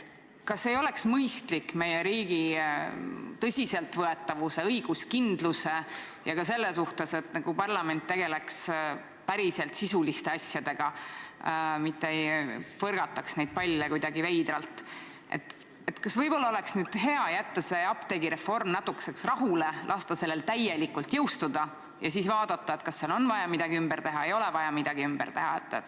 Kas ei oleks mõistlik meie riigi tõsiseltvõetavuse, õiguskindluse ja ka selle huvides, et parlament tegeleks päriselt sisuliste asjadega, mitte ei põrgataks palle kuidagi veidralt, jätta see apteegireform natukeseks rahule, lasta sellel täielikult jõustuda ja siis vaadata, kas on vaja midagi ümber teha või ei ole vaja midagi ümber teha?